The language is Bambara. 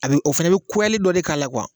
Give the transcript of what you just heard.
A bɛ o fana bɛ dɔ de k'a la